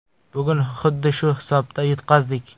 Bugun xuddi shu hisobda yutqazdik.